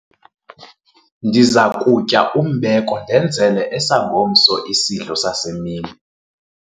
ndiza kutya umbeko ndenzele esangomso isidlo sasemini